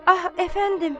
Ah, əfəndim!